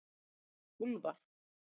Úlfar